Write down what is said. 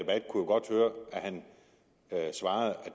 han svarede